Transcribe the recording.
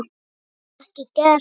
Fleiri ekki gert.